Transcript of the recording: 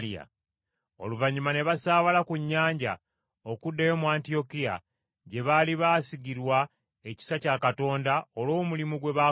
Oluvannyuma ne basaabala ku nnyanja okuddayo mu Antiyokiya, gye baali baasigirwa ekisa kya Katonda olw’omulimu gwe baakola.